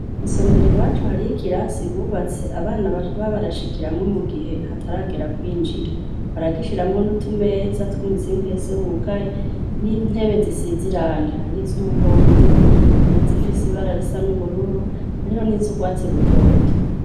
Isomero i wacu hari o ikirasi bubatse abana baju ba barashikiramwo mu gihe hataragera kwinjira baragishiramwo niutumeza tw'umuzingese wugaye n'intebe zisizirange harioiza umuhondo hahiza ifise ibararisa n'ubururu ariho n'izo urwatsi rutoto.